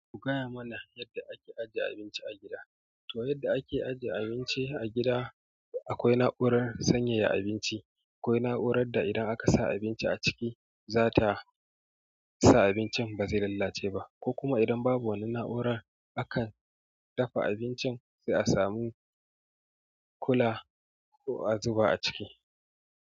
Ku gaya mana yadda ake ajiye abinci a gida. To yadda ake ajiye abinci a gida akwai na'urar sanyaya abinci a gida akwai na'urar da idan aka sanya abinci a ciki zata sa abincin bazai lalace ba, ko kuma idan babu wananan na'urar akan dafa abincin sai a samu kula ko a zuba a ciki.